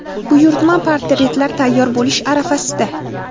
Buyurtma portretlar tayyor bo‘lish arafasida.